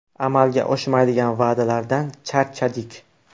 Amalga oshmaydigan va’dalardan charchadik.